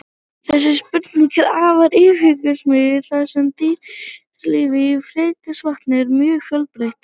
Þessi spurning er afar yfirgripsmikil þar sem dýralíf í ferskvatni er mjög fjölbreytt.